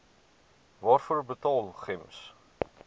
waarvoor betaal gems